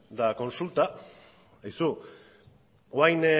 eta kontsulta aizu orain